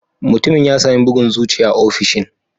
Mutumin ya sami bugun zuciya a ofishin